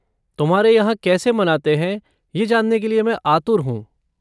तुम्हारे यहाँ कैसे मनाते है ये जानने के लिए मैं आतुर हूँ।